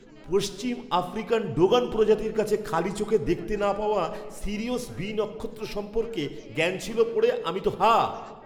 পশ্চিম আফ্রিকার ডোগন প্রজাতির কাছে খালি চোখে দেখতে না পাওয়া সিরিয়ুস বি নক্ষত্র সম্পর্কে জ্ঞান ছিল পড়ে আমি তো হাঁ!